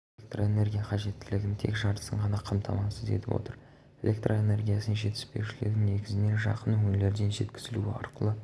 электроэнергия қажеттілігінің тек жартысын ғана қамтамасыз етіп отыр электроэнергиясының жетіспеушілігі негізінен жақын өңірлерден жеткізілу арқылы